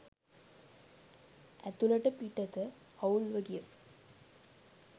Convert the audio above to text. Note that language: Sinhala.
ඇතුළට පිටත අවුල්ව ගිය